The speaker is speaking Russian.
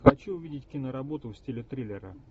хочу увидеть киноработу в стиле триллера